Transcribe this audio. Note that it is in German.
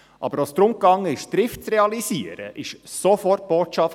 Als es aber darum ging, Trift zu realisieren, kam sofort die Botschaft: